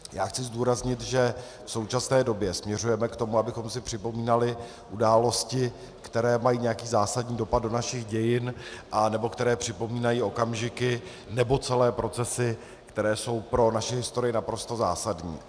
Já chci zdůraznit, že v současné době směřujeme k tomu, abychom si připomínali události, které mají nějaký zásadní dopad do našich dějin anebo které připomínají okamžiky nebo celé procesy, které jsou pro naši historii naprosto zásadní.